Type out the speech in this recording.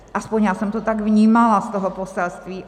Aspoň já jsem to tak vnímala z toho poselství.